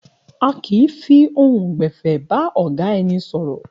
A kì í fi ohùn gbè̩fé̩ bá ò̩gá e̩ni sò̩rò̩